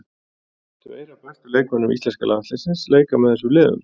Tvær af bestu leikmönnum íslenska landsliðsins leika með þessum liðum.